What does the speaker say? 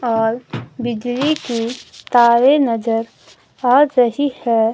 और बिजली के तारे नजर आ रही है।